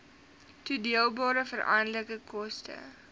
toedeelbare veranderlike koste